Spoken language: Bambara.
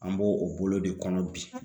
An b'o o bolo de kɔnɔ bi